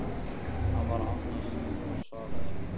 Hann var annars hugar og svaraði ekki.